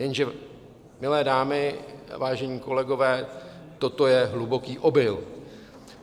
Jenže milé dámy, vážení kolegové, toto je hluboký omyl.